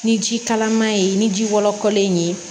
Ni ji kalaman ye ni ji wɔlɔkɔlen ye